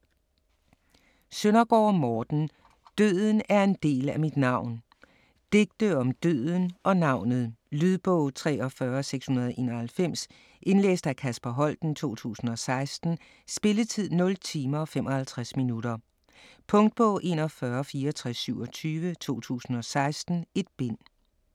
Søndergaard, Morten: Døden er en del af mit navn Digte om døden og navnet. Lydbog 43691 Indlæst af Kasper Holten, 2016. Spilletid: 0 timer, 55 minutter. Punktbog 416427 2016. 1 bind.